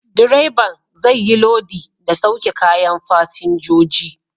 Direban zai yi lodi da sauke kayan fasinjoji.